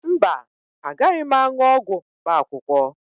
Mba, agaghị m aṅụ ọgwụ mkpaakwụkwọ